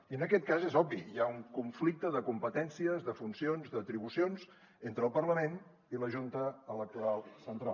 i en aquest cas és obvi hi ha un conflicte de competències de funcions d’atribucions entre el parlament i la junta electoral central